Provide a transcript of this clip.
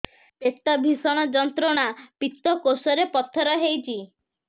ପେଟ ଭୀଷଣ ଯନ୍ତ୍ରଣା ପିତକୋଷ ରେ ପଥର ହେଇଚି